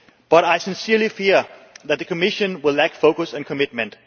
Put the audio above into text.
But I truly fear that the Commission will lack focus and commitment.